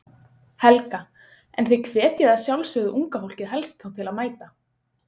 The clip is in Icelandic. Helga: En þið hvetjið að sjálfsögðu unga fólkið helst þá til að mæta?